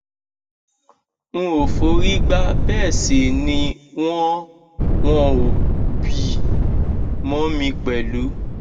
n ò forí gbá bẹẹ sì ni wọn wọn ò bí i mọ mi pẹlú